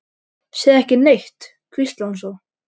Segðu ekki neitt, hvíslaði hún svo.